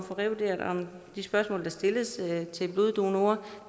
få revurderet de spørgsmål der stilles til bloddonorer